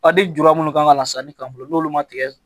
A ni juru minnu kan ka lasa ni kan fɔlɔ n'olu ma tigɛ